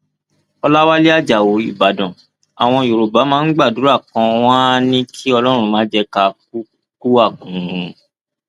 ọlàwálẹ ajáò ìbàdàn àwọn yorùbá máa ń gbàdúrà kan wọn àá ní kí ọlọrun má jẹ ká kú àkúrun